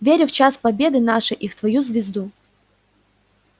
верю в час победы нашей и в твою звезду